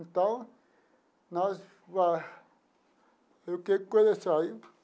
Então, nós... Eu queria começar aí.